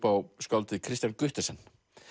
á skáldið Kristian Guttesen